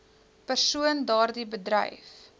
persoon daardie bedryf